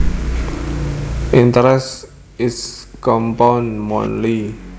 Interest is compounded monthly